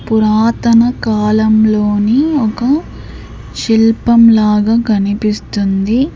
పురాతన కాలంలోని ఒక శిల్పం లాగా కనిపిస్తుంది.